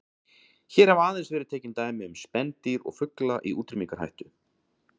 Hér hafa aðeins verið tekin dæmi um spendýr og fugla í útrýmingarhættu.